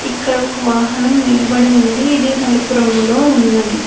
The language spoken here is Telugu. ఇక్కడ ఒక వాహనం నిలబడి ఉంది ఇది నలుపు రంగులో ఉన్నది.